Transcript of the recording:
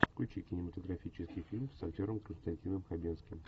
включи кинематографический фильм с актером константином хабенским